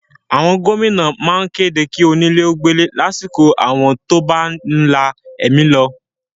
Àwọn gómìnà má ń kéde kí onílé ó gbélé lásìkò áwọ̀ tó bá ti ń la ẹ̀mí lọ